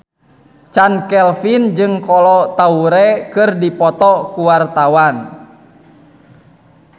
Chand Kelvin jeung Kolo Taure keur dipoto ku wartawan